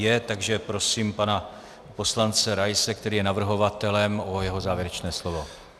Je, takže prosím pana poslance Raise, který je navrhovatelem, o jeho závěrečné slovo.